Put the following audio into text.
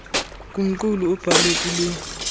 kumqulu abhalwe kulo